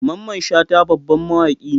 Mamman Shata babban mawaki ne.